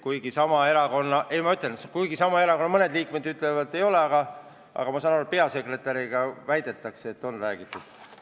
Kuigi sama erakonna mõned liikmed ütlevad, et ei ole, aga ma saan aru, et peasekretäriga – väidetakse – on räägitud.